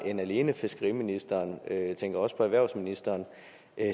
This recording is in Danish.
end alene fiskeriministeren jeg tænker også på erhvervsministeren